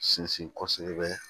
Sinsin kosɛbɛ